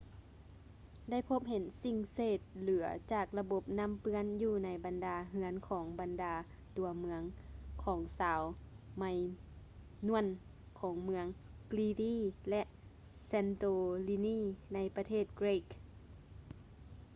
ໄດ້ພົບເຫັນສິ່ງເສດເຫຼືອຈາກລະບົບນ້ຳເປື້ອນຢູ່ໃນບັນດາເຮືອນຂອງບັນດາຕົວເມືອງຂອງຊາວ ໄມນວນ minoan ຂອງເມືອງ crete ແລະ santorini ໃນປະເທດເກຼັກ greece